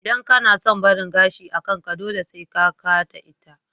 Idan kana son barin gashi a kanka, dole sai ka ka da ita